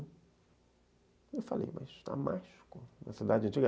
E eu falei, mas Damasco, uma cidade antiga.